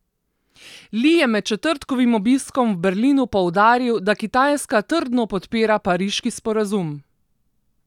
Li je med četrtkovim obiskom v Berlinu poudaril, da Kitajska trdno podpira pariški sporazum.